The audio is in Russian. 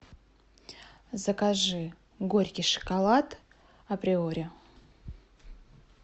закажи горький шоколад априори